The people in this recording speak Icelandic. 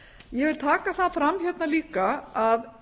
ég vil taka það fram hérna líka að